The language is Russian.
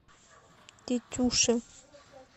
тетюши